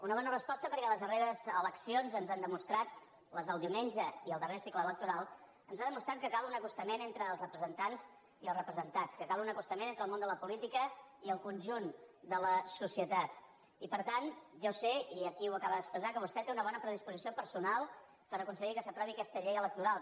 una bona resposta perquè les darreres eleccions ens han demostrat les del diumenge i el darrer cicle electoral que cal un acostament entre els representants i els representats que cal un acostament entre el món de la política i el conjunt de la socie tat i per tant jo sé i aquí ho acaba d’expressar que vostè té una bona predisposició personal per aconseguir que s’aprovi aquesta llei electoral